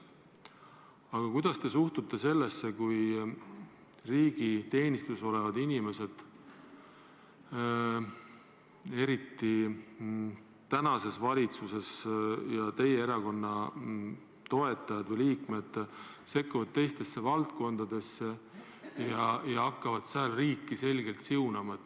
Aga kuidas te suhtute sellesse, kui riigi teenistuses olevad inimesed – eriti praeguses valitsuses teie erakonna liikmed – sekkuvad teistesse valdkondadesse ja hakkavad seda tehes riiki selgelt siunama?